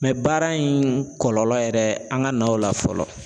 baara in kɔlɔlɔ yɛrɛ an ka naw la fɔlɔ.